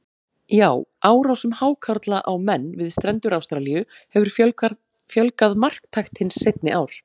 Já, árásum hákarla á menn við strendur Ástralíu hefur fjölgað marktækt hin seinni ár.